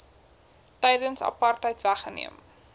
tydens apartheid weggeneem